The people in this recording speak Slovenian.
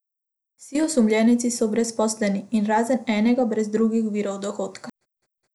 Vsi osumljenci so brezposelni in razen enega brez drugih virov dohodka.